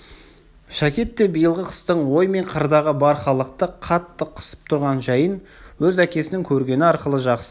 шәкет те биылғы қыстың ой мен қырдағы бар халықты қатты қысып тұрған жайын өз әкесінің көргені арқылы жақсы